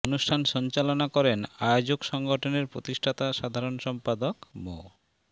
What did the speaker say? অনুষ্ঠান সঞ্চালনা করেন আয়োজক সংগঠনের প্রতিষ্ঠাতা সাধারণ সম্পাদক মো